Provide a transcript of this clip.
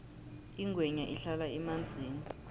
ingwenya ihlala emanzini